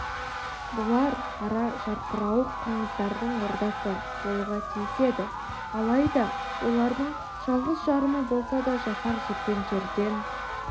бұл ара жарқырауық қоңыздардың ордасы болуға тиіс еді алайда олардың жалғыз-жарымы болса да жасақ жүрген жерден